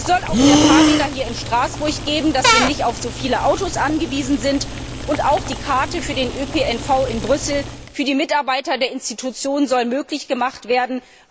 Es soll auch mehr Fahrräder hier in Straßburg geben, damit wir nicht auf so viele Autos angewiesen sind, und auch die Karte für den ÖPNV in Brüssel für die Mitarbeiter der Institutionen soll möglich gemacht werden.